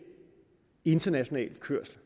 international kørsel